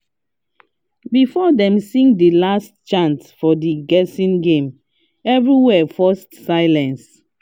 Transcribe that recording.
before dem sing the last chant for the guessing game everywhere first silent